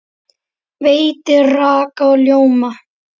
Veitir raka og ljóma.